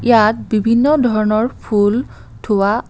ইয়াত বিভিন্ন ধৰণৰ ফুল থোৱা--